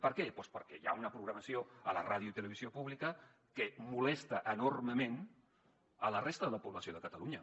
per què doncs perquè hi ha una programació a la ràdio i televisió públiques que molesta enormement la resta de la població de catalunya